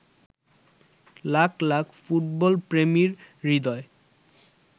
লাখ লাখ ফুটবলপ্রেমীর হৃদয়